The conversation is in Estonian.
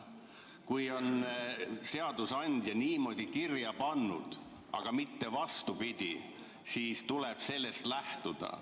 Kui seadusandja on niimoodi kirja pannud, aga mitte vastupidi, siis tuleb sellest lähtuda.